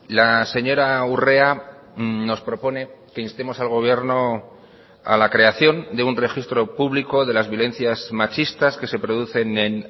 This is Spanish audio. la señora urrea nos propone que instemos al gobierno a la creación de un registro público de las violencias machistas que se producen en